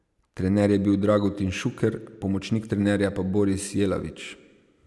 Trener je bil Dragutin Šuker, pomočnik trenerja pa Boris Jelavič.